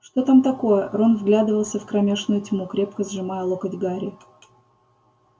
что там такое рон вглядывался в кромешную тьму крепко сжимая локоть гарри